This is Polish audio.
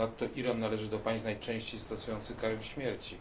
Ponadto Iran należy do państw najczęściej stosujących karę śmierci.